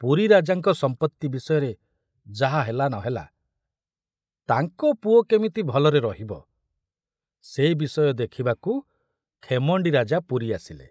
ପୁରୀ ରାଜାଙ୍କ ସମ୍ପତ୍ତି ବିଷୟରେ ଯାହା ହେଲା ନ ହେଲା, ତାଙ୍କ ପୁଅ କେମିତି ଭଲରେ ରହିବ ସେ ବିଷୟ ଦେଖିବାକୁ ଖେମଣ୍ଡି ରାଜା ପୁରୀ ଆସିଲେ।